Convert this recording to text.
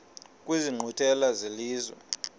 kwezi nkqwithela zelizwe